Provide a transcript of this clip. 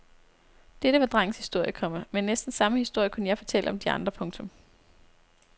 Dette var drengens historie, komma men næsten samme historie kunne jeg fortælle om de andre. punktum